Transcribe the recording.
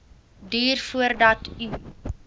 duur voordat u